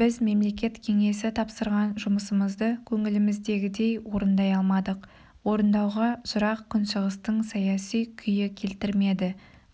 біз мемлекет кеңесі тапсырған жұмысымызды көңіліміздегідей орындай алмадық орындауға жырақ күншығыстың саяси күйі келтірмеді